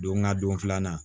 Don ŋa don filanan